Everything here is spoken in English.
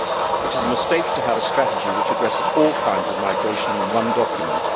It is a mistake to have a strategy which addresses all kinds of migration in one document.